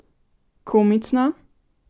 Komično?